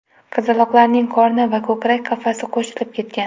Qizaloqlarning qorni va ko‘krak qafasi qo‘shilib ketgan.